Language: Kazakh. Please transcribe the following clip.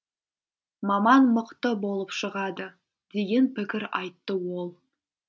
маман мықты болып шығады деген пікір айтты ол